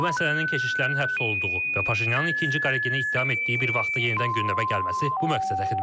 Bu məsələnin keşişlərin həbs olunduğu və Paşinyanın ikinci Qaregini ittiham etdiyi bir vaxtda yenidən gündəmə gəlməsi bu məqsədə xidmət edir.